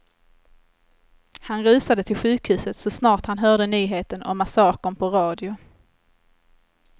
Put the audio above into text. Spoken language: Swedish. Han rusade till sjukhuset så snart han hörde nyheten om massakern på radio.